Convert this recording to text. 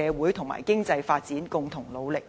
社會和經濟發展共同努力。